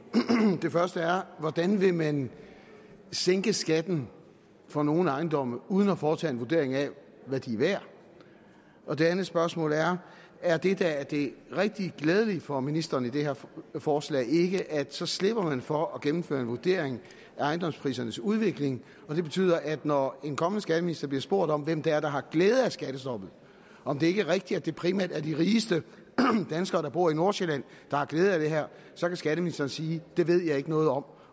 det første er hvordan vil man sænke skatten for nogle ejendomme uden at foretage en vurdering af hvad de er værd og det andet spørgsmål er er det der er det rigtig glædelige for ministeren i det her forslag ikke at så slipper man for at gennemføre en vurdering af ejendomsprisernes udvikling det betyder at når en kommende skatteminister bliver spurgt om hvem det er der har glæde af skattestoppet og om det ikke er rigtigt at det primært er de rigeste danskere der bor i nordsjælland der har glæde af det her så kan skatteministeren sige at det ved han ikke noget om